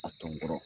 A tɔn kɔrɔ